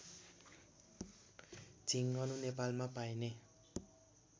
झिङ्गनु नेपालमा पाइने